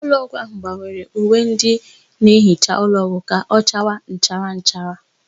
Ụlọọgwụ ahụ gbanwere uwe ndị na-ehicha ụlọọgwụ ka ọchawa nchara nchara.